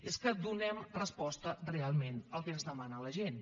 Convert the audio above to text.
és que donem resposta realment al que ens demana la gent